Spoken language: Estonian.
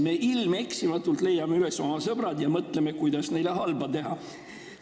Me ilmeksimatult leiame üles oma sõbrad ja mõtleme, kuidas neile halba teha.